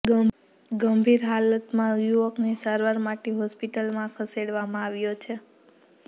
ગંભીર હાલતમાં યુવકને સારવાર માટે હોસ્પિટલમાં ખસેડવામાં આવ્યો છે